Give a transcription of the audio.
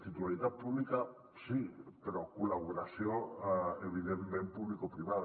titularitat pública sí però col·laboració evidentment publicoprivada